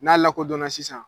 N'a lakɔdɔnna sisan